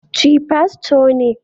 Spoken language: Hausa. Chi Fasto ne